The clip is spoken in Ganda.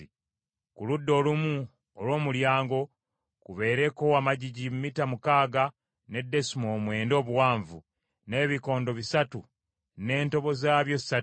Ku ludda olumu olw’omulyango kubeereko amagigi mita mukaaga ne desimoolo mwenda obuwanvu, n’ebikondo bisatu n’entobo zaabyo ssatu,